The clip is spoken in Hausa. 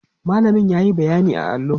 mallamin yayi bayyani a allo